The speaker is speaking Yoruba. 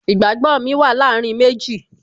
Ìgbàgbó mi wà láàárín méjì